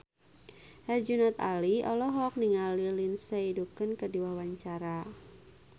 Herjunot Ali olohok ningali Lindsay Ducan keur diwawancara